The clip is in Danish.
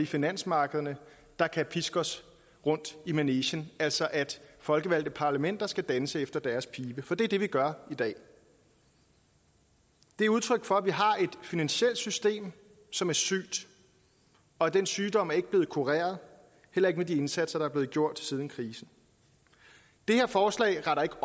finansmarkederne der kan piske os rundt i manegen altså at folkevalgte parlamenter skal danse efter deres pibe for det er det vi gør i dag det er udtryk for at vi har et finansielt system som er sygt og den sygdom er ikke blevet kureret heller ikke med den indsats der er gjort siden krisen det her forslag retter ikke